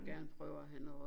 Gerne prøve at have noget